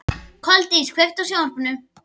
Koldís, kveiktu á sjónvarpinu.